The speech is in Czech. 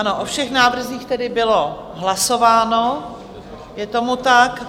Ano, o všech návrzích tedy bylo hlasováno, je tomu tak.